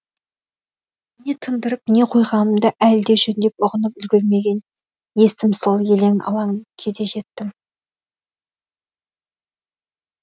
не тындырып не қойғанымды әлі де жөндеп ұғынып үлгермеген есім сол елең алаң күйде жеттім